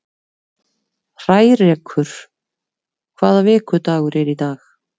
Hrærekur, hvaða vikudagur er í dag?